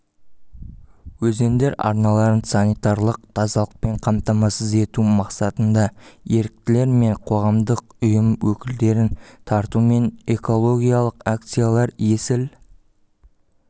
өзендер арналарын санитарлық тазалықпен қамтамасыз ету мақсатында еріктілер мен қоғамдық ұйым өкілдерін тартумен экологиялық акциялар есіл